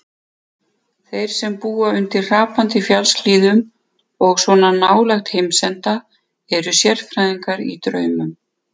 Þeir sem búa undir hrapandi fjallshlíðum og svona nálægt heimsenda, eru sérfræðingar í draumum.